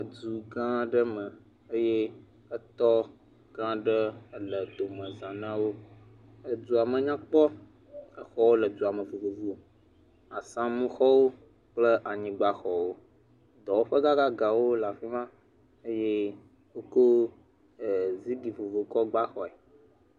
Edu gã aɖe me eye etɔ gã aɖe le edome zã na wo, edu me nyakpɔ exɔwo le duame vovovo asamu xɔwo kple anyigbaxɔwo dɔwɔƒe gãgãgã wo le afi ma eye wokɔ zigli vovovowo tsɔ gba xɔe.